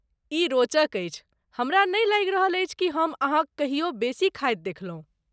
ई रोचक अछि, हमरा नहि लागि रहल अछि कि हम अहाँक कहियो बेसी खायत देखलहुँ।